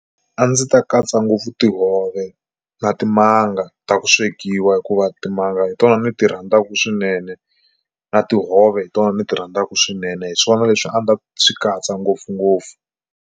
A ndzi ta katsa ngopfu tihove na timanga ta ku swekiwa hikuva timanga hi tona ni ti rhandzaka swinene na tihove hi tona ni ti rhandzaka swinene hi swona leswi a ndzi ta swi katsa ngopfungopfu.